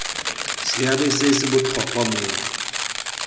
seabe se se botlhokwa mo